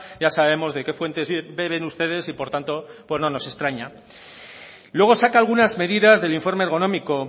ya sabemos de qué fuentes beben ustedes y por tanto pues no nos extraña luego saca algunas medidas del informe ergonómico